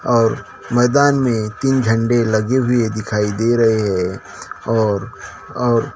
और मैदान में तीन झंडे लगे हुई दिखाई दे रहे है और और--